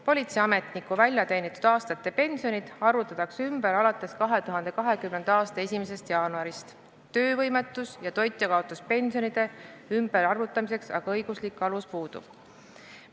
Politseiametniku väljateenitud aastate pension arvutatakse ümber alates 2020. aasta 1. jaanuarist, töövõimetus- ja toitjakaotuspensioni ümberarvutamiseks õiguslik alus puudub.